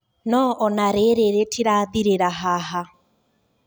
No ona riri ritirathirira haha